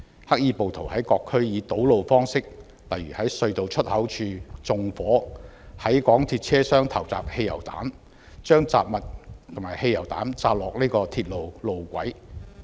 黑衣暴徒在各區堵路，例如在隧道出口處縱火、在港鐵車廂投擲汽油、把雜物和汽油彈掉在鐵路路軌。